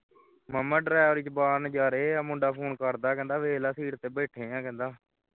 ਮਾਂਮਾਂ ਡਰਾਇਵਰੀ ਵਿੱਚ ਬਾਹਰ ਨਜ਼ਾਰੇ ਹੈ ਮੁੰਡਾ ਫੋਨ ਕਰਦਾ ਹੈ ਕਹਿੰਦਾ ਹੈ ਵੇਖ ਲੈ seat ਤੇ ਬੈਠਿਆਂ ਵੇਖ ਲੈ